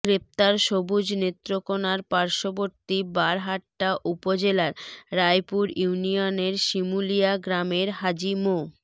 গ্রেপ্তার সবুজ নেত্রকোণার পার্শ্ববর্তী বারহাট্টা উপজেলার রায়পুর ইউনিয়নের শিমুলিয়া গ্রামের হাজী মো